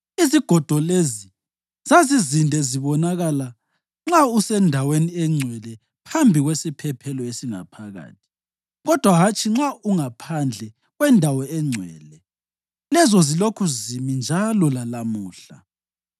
Izigodo lezi zazizinde zibonakala nxa useNdaweni eNgcwele phambi kwesiphephelo esingaphakathi, kodwa hatshi nxa ungaphandle kweNdawo eNgcwele; lezo zilokhu zimi njalo lalamuhla.